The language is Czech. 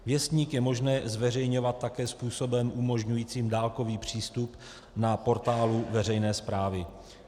Věstník je možné zveřejňovat také způsobem umožňujícím dálkový přístup na portálu veřejné správy.